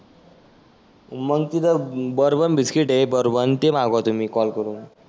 मग तीथं bourbon biscuit आहे. बोरबन ते माघवा तुम्ही कॉल करुण.